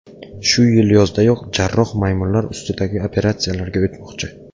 Shu yil yozdayoq jarroh maymunlar ustidagi operatsiyalarga o‘tmoqchi.